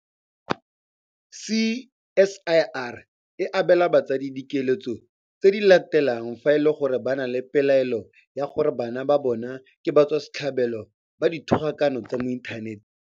CSIR e abela batsadi dikeletso tse di latelang fa e le gore ba na le pelaelo ya gore bana ba bona ke batswasetlhabelo ba dithogakano tsa mo inthaneteng.